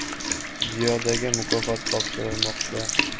Ziyodaga mukofot topshirilmoqda.